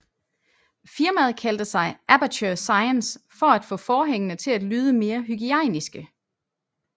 Firmaet kaldte sig Aperture Science for at få forhængene til at lyde mere hygiejniske